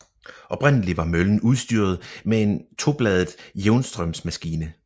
Oprindelig var møllen udstyret med en tobladet jævnstrømsmaskine